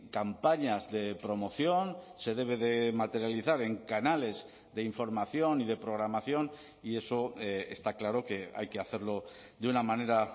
campañas de promoción se debe de materializar en canales de información y de programación y eso está claro que hay que hacerlo de una manera